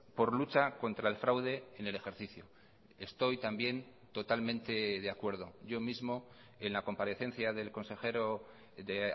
por lucha contra el fraude en el ejercicio estoy también totalmente de acuerdo yo mismo en la comparecencia del consejero de